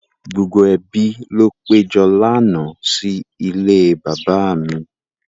Gbogbo ẹbi ló péjọ lánàá sí ilé bàbá mi.